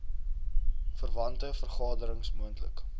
verwante vergaderings moontlik